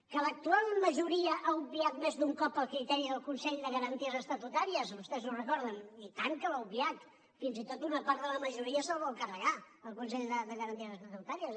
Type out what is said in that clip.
que l’actual majoria ha obviat més d’un cop el criteri del consell de garanties estatutàries vostès ho recorden i tant que l’ha obviat fins i tot una part de la majoria se’l vol carregar el consell de garanties estatutàries